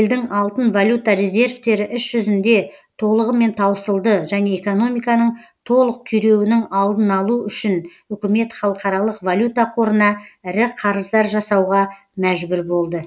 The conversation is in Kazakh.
елдің алтын валюта резервтері іс жүзінде толығымен таусылды және экономиканың толық күйреуінің алдын алу үшін үкімет халықаралық валюта қорына ірі қарыздар жасауға мәжбүр болды